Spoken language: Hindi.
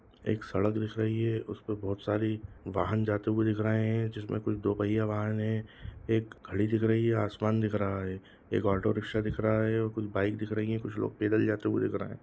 एक सड़क दिख रही है उसपे बहुत सारी वाहन जाते हुए दिख रहे हैं जिसमें कुछ दो पहिया वाहन है। एक घड़ी दिख रही है। आसमान दिख रहा है। एक ऑटो-रिक्शा दिख रहा है अ कुछ बाइक दिख रही है। कुछ लोग पैदल जाते दिख रहे हैं।